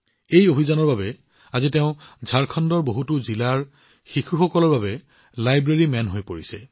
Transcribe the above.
এই অভিযানৰ বাবে আজি তেওঁ ঝাৰখণ্ডৰ বহুতো জিলাৰ শিশুসকলৰ বাবে লাইব্ৰেৰী মেন হৈ পৰিছে